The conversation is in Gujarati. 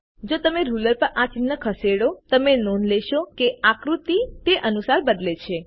જો તમે રૂલર પર આ ચિહ્નો ખસેડો તમે નોંધ લેશો કે આકૃતિ તે અનુસાર બદલે છે